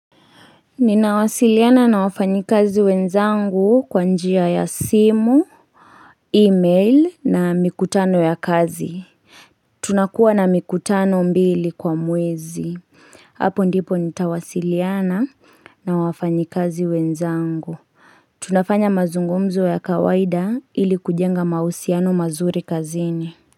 Ninawasiliana na wafanyi kazi wenzangu kwa njia ya simu, e-mail na mikutano ya kazi. Tunakuwa na mikutano mbili kwa mwezi. Hapo ndipo nitawasiliana na wafanyi kazi wenzangu. Tunafanya mazungumzo ya kawaida ili kujenga mahusiano mazuri kazini.